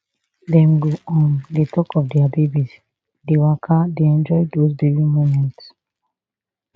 dem go um dey tok of dia babies dey waka dey enjoy dos baby moments